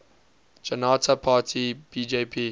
janata party bjp